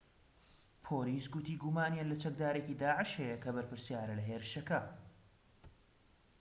پۆلیس گوتی گومانیان لە چەکدارێکی داعش هەیە کە بەرپرسیارە لە هێرشەکە